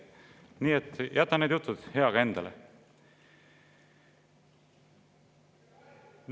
Nii et jäta need jutud heaga endale.